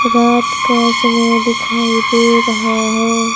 रात का समय दिखाई दे रहा है।